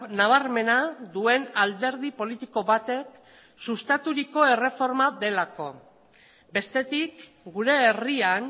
nabarmena duen alderdi politiko batek sustaturiko erreforma delako bestetik gure herrian